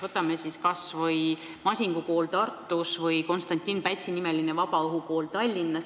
Võtame kas või Masingu kooli Tartus või Konstantin Pätsi nimelise vabaõhukooli Tallinnas.